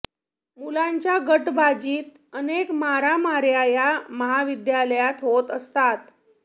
मुलांच्या गटबाजीत अनेक मारामाऱ्या या महाविद्यालयात होत असतात